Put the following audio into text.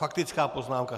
Faktická poznámka.